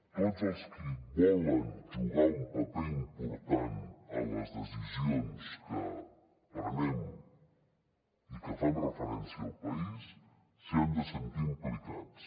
tots els qui volen jugar un paper important en les decisions que prenem i que fan referència al país s’hi han de sentir implicats